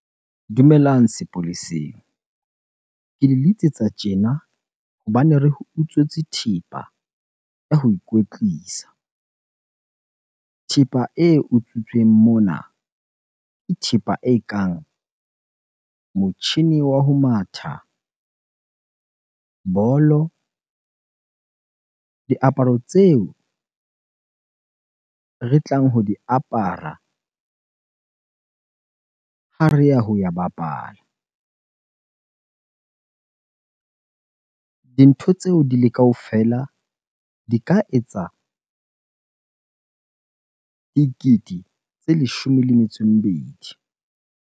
Dumelang sepoleseng. Ke le letsetsa tjena hobane re utswetswe thepa ya ho ikwetlisa. Thepa e utswitsweng mona ke thepa ekang motjhini wa ho matha, bolo, diaparo tseo re tlang ho di apara ha re ya ho ya bapala. Dintho tseo di le kaofela di ka etsa dikete tse leshome le metso e mebedi.